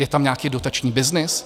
Je tam nějaký dotační byznys?